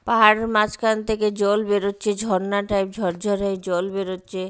পাহাড়ের মাঝখান থেকে জল বেরোচ্ছে ঝর্না টাইপ ঝরঝড়াই জল বেরোচ্ছে।